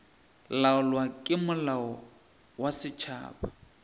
laolwa ke molao wa setšhaba